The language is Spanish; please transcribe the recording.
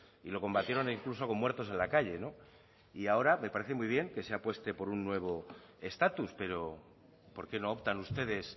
y lo combatieron incluso con muertos en la calle no y ahora me parece muy bien que se apueste por un nuevo estatus pero por qué no optan ustedes